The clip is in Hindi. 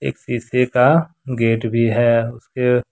शीशे का गेट भी है उसके--